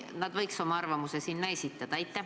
Nad võiks oma arvamuse ka esitada.